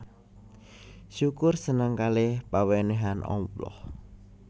Syukur seneng kaleh pawenehan Allah